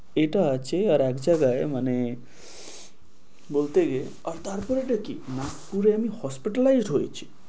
এটা আছে, আর এক জায়গায় মানে বলতে, তারপরে এটা কি নাগপুরে আমি hospitalized হয়েছি।